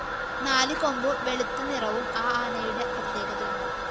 നാലുകൊമ്പും വെളുത്ത നിറവും ആ ആനയുടെ പ്രത്യേകതയാണ്